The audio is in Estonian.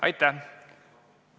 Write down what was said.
Aitäh!